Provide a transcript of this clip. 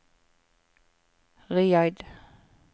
Riyadh